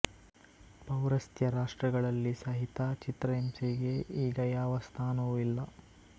ಪೌರಸ್ತ್ಯ ರಾಷ್ಟ್ರಗಳಲ್ಲಿ ಸಹಿತ ಚಿತ್ರಹಿಂಸೆಗೆ ಈಗ ಯಾವ ಸ್ಥಾನವೂ ಇಲ್ಲ